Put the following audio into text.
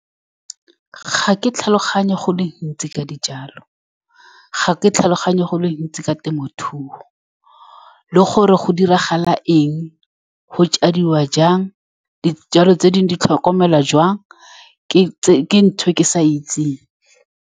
Ga ke tlhaloganye go le gontsi ka dijalo ga ke tlhaloganye go le gontsi ka temothuo, le gore go diragala eng, go jadiwa jang dijalo tse dingwe di tlhokomelwa jang ke ke ntho e ke sa e itseng.